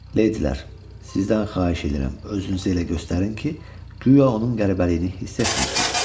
Leydilər, sizdən xahiş edirəm özünüzü elə göstərin ki, guya onun qəribəliyini hiss etmirsiz.